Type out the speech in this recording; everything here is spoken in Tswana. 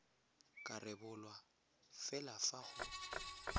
ka rebolwa fela fa go